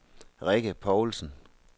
Rikke Paulsen